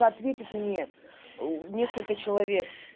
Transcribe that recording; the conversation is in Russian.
ответит мне несколько человек